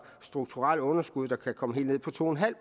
strukturelle underskud der kan komme helt ned på to en halv